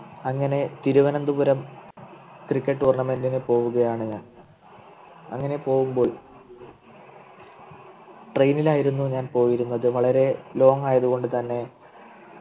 അങ്ങനെ Thiruvananthapuram Cricket tournament പോവുകയാണ് ഞാൻ അങ്ങനെ പോകുമ്പോൾ Train ൽ ആയിരുന്നു ഞാൻ പോയിരുന്നത് വളരെ long ആയതുകൊണ്ട് തന്നെ